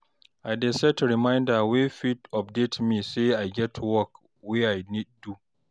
I dey set reminder wey fit dey update me say e get work wey I nid do